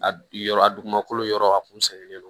A bi yɔrɔ a dugumakolo yɔrɔ a kun sɛgɛnnen don